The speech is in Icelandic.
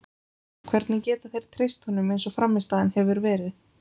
Hvernig geta þeir treyst honum eins og frammistaðan hefur verið?